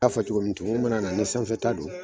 I y'a fɔ cogo min na, tumu mana na ni sanfɛ ta doni